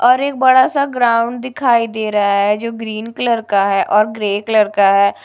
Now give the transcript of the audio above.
और एक बड़ासा ग्राउंड दिखाई दे रहा है जो ग्रीन कलर का है और ग्रे कलर का है।